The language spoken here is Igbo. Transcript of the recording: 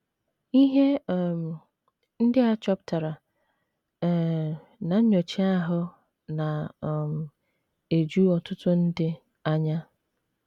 Ihe um ndị a chọpụtara um ná nnyocha ndị ahụ na um - eju ọtụtụ ndị anya.